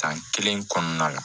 San kelen kɔnɔna la